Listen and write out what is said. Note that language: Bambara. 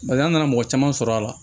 Barisa an nana mɔgɔ caman sɔrɔ a la